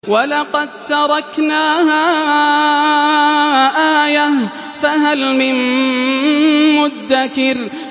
وَلَقَد تَّرَكْنَاهَا آيَةً فَهَلْ مِن مُّدَّكِرٍ